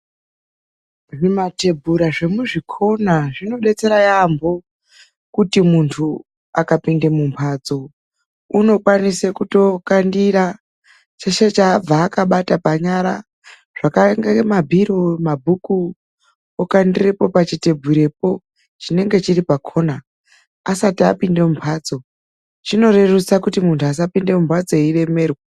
Zvimatebura zvemuzvikhona zvinobetsera yaamho kuti muntu akapinda mumhatso unokwanisa kutokandira cheshe chaabva akabata panyara. Zviro zvinonga mabhiro , mabhuku zvinokone kukandirwapo pachithebhurapo chinenge chiri pakhona asati apinda mumhatso. Chinorerusa kuti muntu asapinda mumhatso eiremerwa.